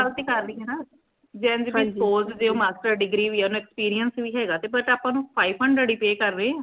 ਉਹੀ ਗੱਲ ਤੇ ਕਰ ਰਹੀ ਹੈਨਾ ਜੇਨਜ ਵੀ spoke ਜੇ ਉਹ master's degree ਵੀ ਹੈ ਓਨੂੰ experience ਵੀ ਹੈਗਾ ਤੇ but ਆਪਾ ਨੂ five hundred ਹੀ pay ਕਰ ਰੇ ਹਾਂ